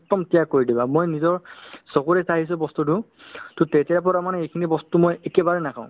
একদম ত্যাগ কৰি দিবা মই নিজৰ চকুৰে চাইছো বস্তুতো to তেতিয়াৰ পৰা মানে এইখিনি বস্তু মই একেবাৰে নাখাওঁ